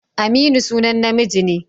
Aminu sunan namiji ne.